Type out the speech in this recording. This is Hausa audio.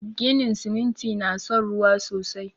Ginin siminti na son ruwa sosai